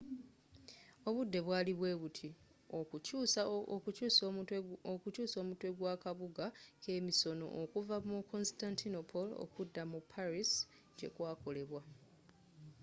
obudde bwali bwebuti okukyuusa omutwe gwa kabuga kemisono okuva mu constantinople okudda mu paris gyekwakolebwa